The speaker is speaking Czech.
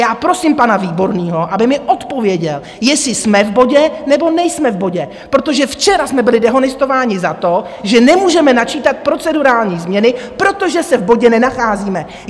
Já prosím pana Výborného, aby mi odpověděl, jestli jsme v bodě, nebo nejsme v bodě, protože včera jsme byli dehonestováni za to, že nemůžeme načítat procedurální změny, protože se v bodě nenacházíme.